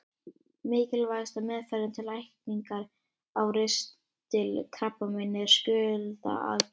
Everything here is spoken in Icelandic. Mikilvægasta meðferðin til lækningar á ristilkrabbameini er skurðaðgerð.